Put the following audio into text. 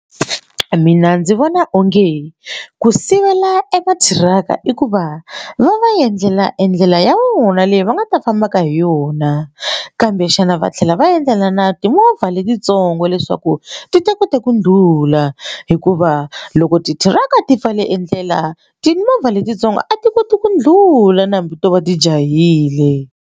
Mina ndzi vona onge ku sivela ema thiraka i ku va va va endlela endlela ya vona leyi va nga ta fambaka hi yona kambe xana va tlhela va endlela na timovha letitsongo leswaku ti ta kota ku ndlhula hikuva loko titiraka ti pfale endlela timovha letintsongo a ti koti ku ndlhula ni hambi to va ti jahile.